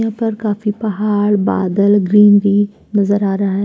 ऊपर काफी पहाड़ ग्रीनरी नजर आ रहा है।